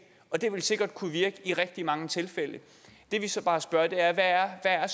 og det vil sikkert kunne virke i rigtig mange tilfælde det vi så bare spørger om er